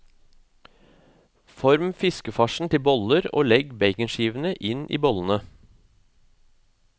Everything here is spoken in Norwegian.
Form fiskefarsen til boller, og legg baconskivene inn i bollene.